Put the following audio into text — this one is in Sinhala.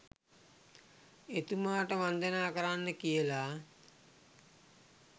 එතුමාට වන්දනා කරන්න කියලා